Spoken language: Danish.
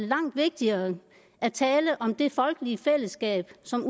langt vigtigere at tale om det folkelige fællesskab som